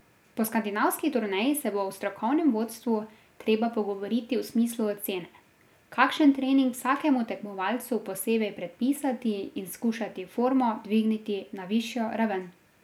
Po skandinavski turneji se bo v strokovnem vodstvu treba pogovoriti v smislu ocene, kakšen trening vsakemu tekmovalcu posebej predpisati in skušati formo dvigniti na višjo raven.